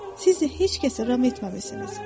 Sizi heç kəs ram etməmisiniz.